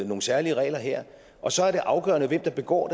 nogle særlige regler her og så er det afgørende hvem der begår